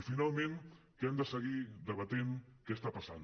i finalment que hem de seguir debatent què està passant